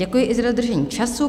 Děkuji i za dodržení času.